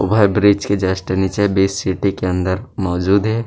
Overbridge के just निचे बीच सीटी के अंदर मौजूद हे।